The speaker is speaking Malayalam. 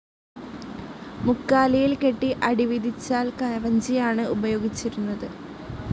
മുക്കാലിയിൽ കെട്ടി അടി വിധിച്ചാൽ കവഞ്ചിയാണ് ഉപയോഗിച്ചിരുന്നത്.